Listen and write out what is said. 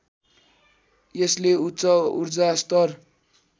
यसले उच्च ऊर्जास्तर